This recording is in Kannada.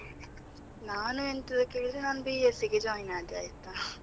ನಾನು ಎಂತದು ಕೇಳಿದ್ರೆ ನಾನು B.Sc ಗೆ join ಆದೆ ಆಯ್ತಾ.